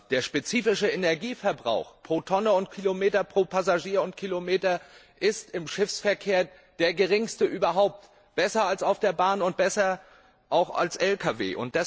Der spezifische Energieverbrauch pro Tonne und Kilometer, pro Passagier und Kilometer ist im Schiffsverkehr der geringste überhaupt, besser als bei der Bahn und auch besser als bei Lkw.